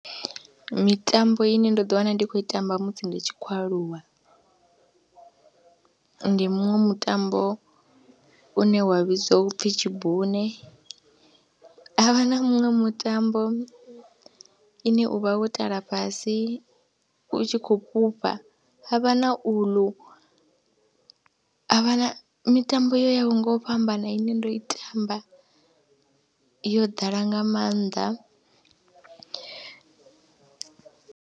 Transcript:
Mitambo ine ndo ḓiwana ndi khou i tamba musi ndi tshi khou aluwa ndi muṅwe mutambo une wa vhidzwa u pfhi tshibune, ha vha na muṅwe mutambo ine u vha wo tala fhasi u tshi khou fhufha ha vha na uḽu, hav ha na mitambo yo yaho nga u fhambana ine ndo i tamba yo ḓala nga maanḓa.